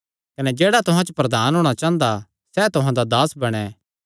कने जेह्ड़ा तुहां च प्रधान होणा चांह़दा सैह़ तुहां दा दास बणैं